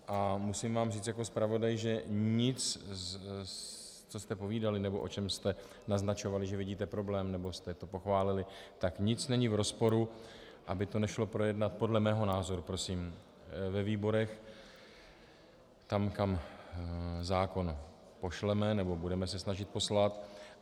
A musím vám říct jako zpravodaj, že nic, co jste povídali nebo o čem jste naznačovali, že vidíte problém, nebo jste to pochválili, tak nic není v rozporu, aby to nešlo projednat, podle mého názoru prosím, ve výborech, tam, kam zákon pošleme, nebo budeme se snažit poslat.